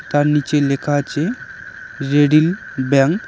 তার নিচে লেখা আছে রেডিল ব্যাংক ।